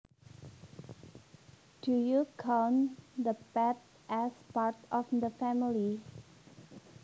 Do you count the pet as part of the family